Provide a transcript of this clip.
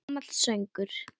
Gamall söngur!